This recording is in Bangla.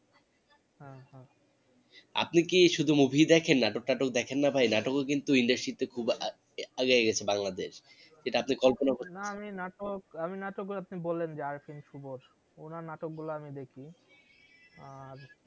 আপনি কি শুধু movie দেখেন? নাটক টাটকা দেখেন না ভাই? নাটক ও কিন্তু industry তে খুব আগাই গেছে বাংলাদেশ সেটা আপনি কল্পনা করতেও পারবেন না না আমি নাটক উনার নাটক গুলো আমি দেখি